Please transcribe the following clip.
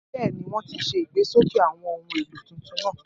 Bẹ́ẹ̀ ni, wọ́n ti ṣe ìgbésókè àwọn ohun èlò tuntun náà